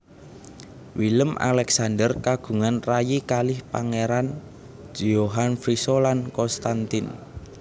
Willem Alexander kagungan rayi kalih Pangeran Johan Friso lan Constantijn